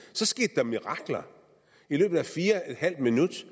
skete der mirakler i løbet af fire et halvt minut